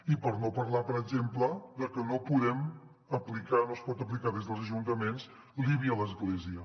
i per no parlar per exemple que no podem aplicar no es pot aplicar des dels ajuntaments l’ibi a l’església